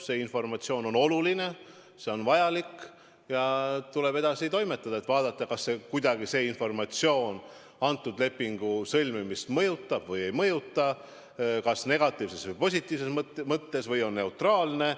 See informatsioon on oluline, see on vajalik ja tuleb edasi toimetada, et vaadata, kas see kuidagi ka kõnealuse lepingu sõlmimist mõjutab või ei mõjuta – kas negatiivses või positiivses mõttes või on see neutraalne.